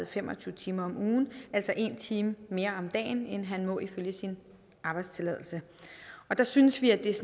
fem og tyve timer om ugen altså en time mere om dagen end må ifølge sin arbejdstilladelse der synes vi at det